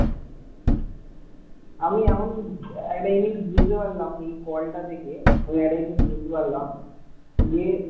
আমি এখন একটা জিনিস বুঝতে পারলাম এই call টা থেকে আমি এখন একটা জিনিস বুঝতে পারলাম যে,